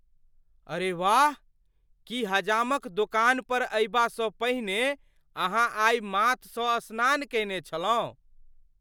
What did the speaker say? अरे वाह! की हजामक दोकान पर अयबासँ पहिने अहाँ आइ माथसँ स्नान कयने छलहुँ?